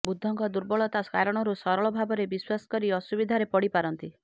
ବୁଧଙ୍କ ଦୁର୍ବଳତା କାରଣରୁ ସରଳ ଭାବରେ ବିଶ୍ୱାସକରି ଅସୁବିଧାରେ ପଡ଼ିପାରନ୍ତି